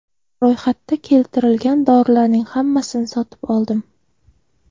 Ro‘yxatda keltirilgan dorilarning hammasini sotib oldim.